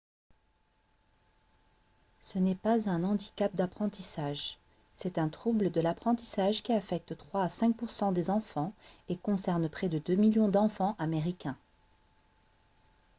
ce n'est pas un handicap d'apprentissage. c'est un trouble de l'apprentissage qui affecte 3 à 5 % des enfants et concerne près de 2 millions d'enfants américains